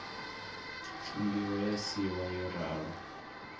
fungiwa ya siiwa yo ralo